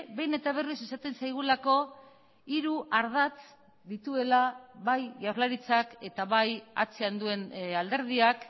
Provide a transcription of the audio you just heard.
behin eta berriz esaten zaigulako hiru ardatz dituela bai jaurlaritzak eta bai atzean duen alderdiak